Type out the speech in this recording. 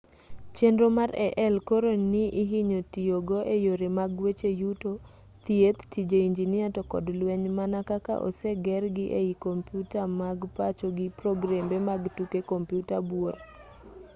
chenro mar ai koro ni ihinyo ti go e yore mag weche yuto thieth tije injinia to kod lweny mana kaka osegergi ei komyuta mag pacho gi progrembe mag tuke kompyuta buora